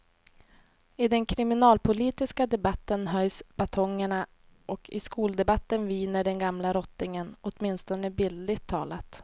I den kriminalpolitiska debatten höjs batongerna och i skoldebatten viner den gamla rottingen, åtminstone bildligt talat.